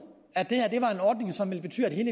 at det her var en ordning som ville betyde